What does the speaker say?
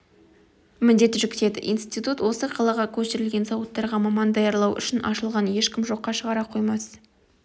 міндет жүктеді институт осы қалаға көшірілген зауыттарға маман даярлау үшін ашылғанын ешкім жоққа шығара қоймас